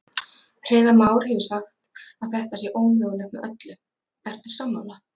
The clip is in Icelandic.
Hreiðar Már hefur sagt að þetta sé ómögulegt með öllu, ertu sammála?